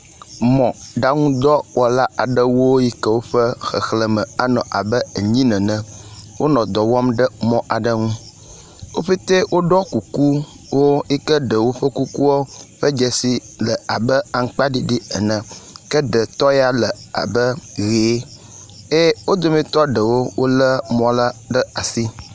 Mɔɖaŋu dɔwɔla aɖewo yike woƒe xexlẽme anɔ abe enyi nene, wonɔ dɔ wɔm le mɔ aɖe ŋu. Wo ƒete woɖɔ kuku yike ɖewo woƒe kuku ƒe dzesi le abe aŋkpaɖiɖi ene. Ke ɖe tɔ ya le abe ʋe, ye wo dometɔ ɖewo wolé mɔ la ɖe asi.